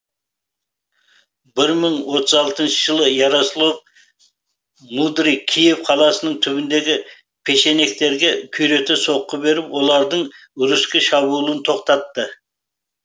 бір мың отыз алтыншы жылы ярослав мудрый киев қаласының түбінде печенегтерге күйрете соққы беріп олардың руське шабуылын тоқтатты